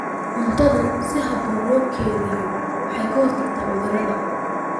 Cuntada si habboon loo kaydiyo waxay ka hortagtaa cudurrada.